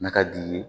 N'a ka d'i ye